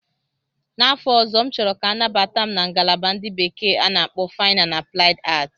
N'afọ ọzọ, M chọrọ ka anabata m na ngalaba ndị bekee na-akpọ Fine and Applied Arts.